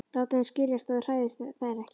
Láta þeim skiljast að ég hræðist þær ekki.